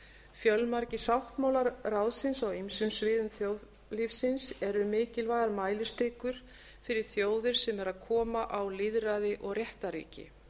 fjölmargir sáttmálar ráðsins á ýmsum sviðum þjóðlífsins eru mikilvægar mælistikur fyrir þjóðir sem eru að koma á lýðræði og réttarríki